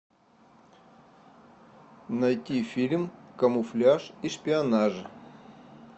найти фильм камуфляж и шпионаж